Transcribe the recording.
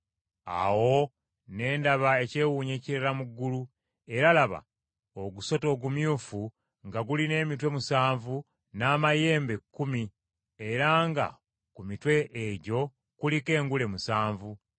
Awo ne ndaba ekyewuunyo ekirala mu ggulu, era laba, ogusota ogumyufu nga gulina emitwe musanvu n’amayembe kkumi era nga ku mitwe egyo kuliko engule musanvu.